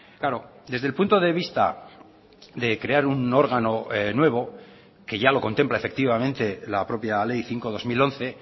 claro desde el punto de vista de crear un órgano nuevo que ya lo contempla efectivamente la propia ley cinco barra dos mil once